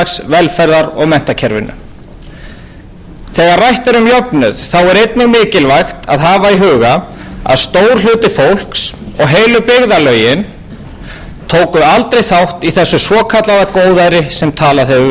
velferðar og menntakerfinu þegar rætt er um jöfnuð er einnig mikilvægt að hafa í huga að stór hluti fólks og heilu byggðarlögin tók aldrei þátt í þessu svokallaða góðæri sem talað hefur verið um mörg þessara svæða hafa mátt þola fólksfækkun og neikvæðan hagvöxt